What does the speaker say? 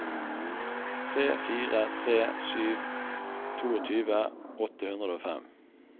tre fire tre sju tjueto åtte hundre og fem